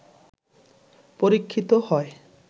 পরীক্ষিত হয়